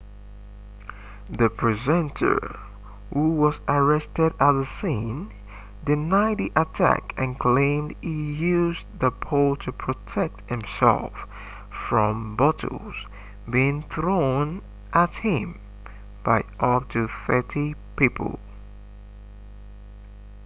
the presenter who was arrested at the scene denied the attack and claimed he used the pole to protect himself from bottles being thrown at him by up to thirty people